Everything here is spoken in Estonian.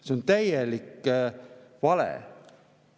See on täielik vale!